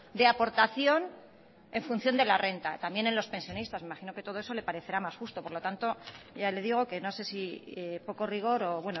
de aportación en función de la renta también en los pensionistas me imagino que todo eso le parecerá más justo por lo tanto ya le digo que no sé si poco rigor o